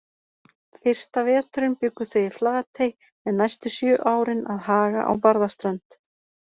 Fyrsta veturinn bjuggu þau í Flatey en næstu sjö árin að Haga á Barðaströnd.